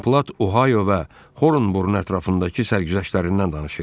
Don Plat Ohayo və Horunburun ətrafındakı sərgüzəştlərindən danışırdı.